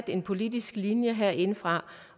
en politisk linje herindefra